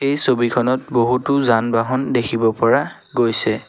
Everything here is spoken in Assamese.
এই ছবিখনত বহুতো যান বাহন দেখিব পৰা গৈছে।